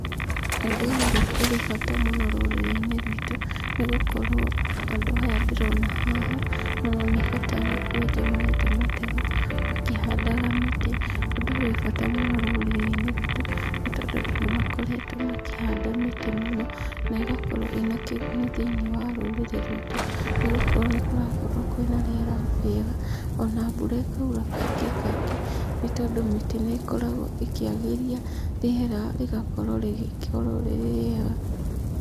Ũndũ ũyũ rĩ, ũrĩ bata mũno rũrĩrĩ-inĩ rwitũ, nĩ gũkorwo andũ aya ndĩrona haha, maroneka ta arĩ kwenja marenja mateu, makĩhandaga mĩtĩ. Ũndũ ũyũ wĩ bata mũno rũrĩrĩ-inĩ rwitũ nĩ tondũ andũ nĩ makoretwo makĩhanda mĩtĩ mũno, na ĩgakorwo ĩnakĩguni thĩini wa rũrĩrĩ rwitũ nĩgũkorwo nĩkũrakorwo kwĩnĩna rĩera rĩega, ona mbura ĩkaura kaingĩ kaingĩ, nĩ tondũ mĩtĩ nĩ ĩkoragwo ĩkĩagĩria rĩera rĩgakorwo rĩgĩkorwo rĩ rĩega.